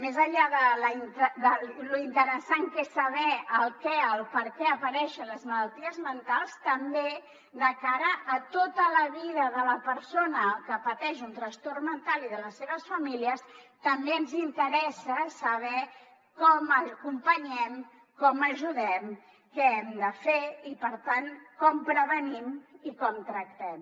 més enllà de lo interessant que és saber el perquè apareixen les malalties mentals també de cara a tota la vida de la persona que pateix un trastorn mental i de les seves famílies també ens interessa saber com acompanyem com ajudem què hem de fer i per tant com prevenim i com tractem